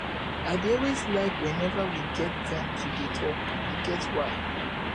i dey always like whenever we get time to dey talk e get why